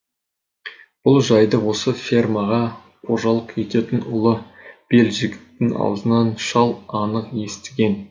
бұл жайды осы фермаға қожалық ететін ұлы белжігіттің аузынан шал анық естіген